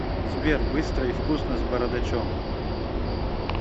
сбер быстро и вкусно с бородачом